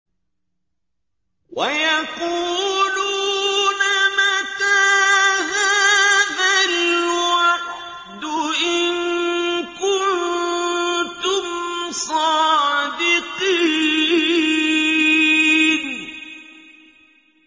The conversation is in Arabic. وَيَقُولُونَ مَتَىٰ هَٰذَا الْوَعْدُ إِن كُنتُمْ صَادِقِينَ